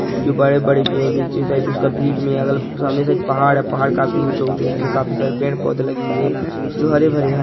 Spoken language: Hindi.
जो बड़े बड़े भी है नीचे साइड उसका भीत मे है सामने साइड पहाड़ है पहाड़ काफी ऊंचे ऊंचे है उसमे काफी सारे पेड़ पौधे लगे हुवे है जो हरे भरे है।